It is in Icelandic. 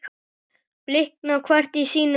blikna hvert í sínum reit